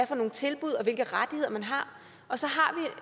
for nogle tilbud og hvilke rettigheder man har og så